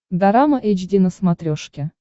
дорама эйч ди на смотрешке